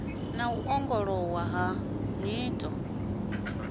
na u ongolowa ha nyito